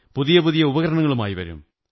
പുതിയ പുതിയ ഉപകരണങ്ങളുമായി വരും